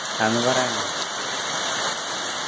അതൊന്നു പറയാമോ